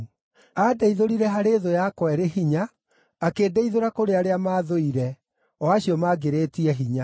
Andeithũrire thũ yakwa ĩrĩ hinya, akĩndeithũra kũrĩ arĩa maathũire, o acio maangĩrĩtie hinya.